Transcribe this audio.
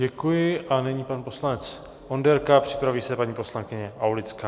Děkuji a nyní pan poslanec Onderka, připraví se paní poslankyně Aulická.